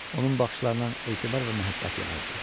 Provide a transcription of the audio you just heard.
Onun baxışlarından etibar və məhəbbət yağırdı.